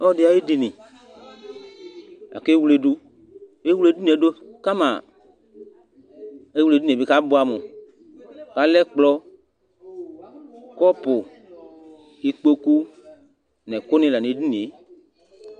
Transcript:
Ɔlu ɛdi ayi ediníe, aka ewledu, ɛwle edinie du kama, ewle edinìe du k'abuami, k'alɛ ɛkplɔ kapũ, ikpoku, n'ɛku ni la 'tɛ